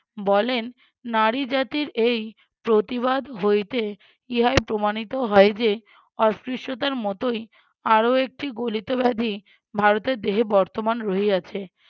বলেন নারী জাতির এই প্রতিবাদ হইতে ইহাই প্রমাণিত হয় যে অস্পৃশ্যতার মতোই আরও একটি গলিত ব্যাধি ভারতের দেহে বর্তমান রহিয়াছে